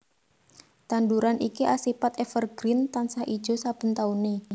Tanduran iki asipat evergreen tansah ijo saben taune